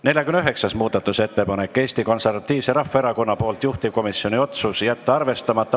49. muudatusettepanek on Eesti Konservatiivselt Rahvaerakonnalt, juhtivkomisjoni otsus: jätta arvestamata.